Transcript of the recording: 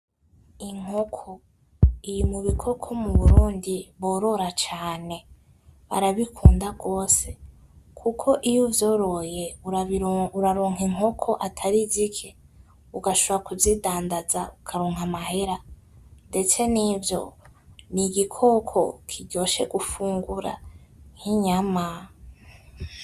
Inkoko iri m’ubikoko mu Burundi bororo cane barabikunda gose kuko iyo uvyoroye , uraronka inkoko atari zike ugashombora kuzindandaza ukaronka amahera ndetse ,nivyo nigikoko kiryoshe gufungura nk’inyama.